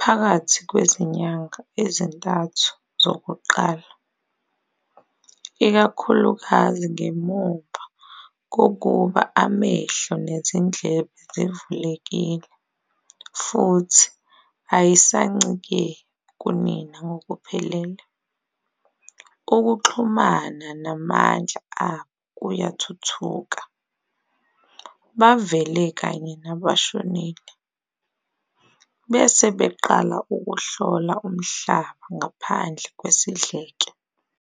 phakathi kwezinyanga ezintathu zokuqala, ikakhulukazi ngemuva kokuba amehlo nezindlebe zivulekile futhi ayisancike kunina ngokuphelele. Ukuxhumana namandla abo kuyathuthuka, bavele kanye nabashonile, bese beqala ukuhlola umhlaba ngaphandle kwesidleke.